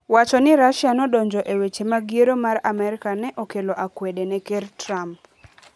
Wacho ni Russia nodonjo e weche mag yiero mar Amerka ne okelo akwede ne Ker Trump.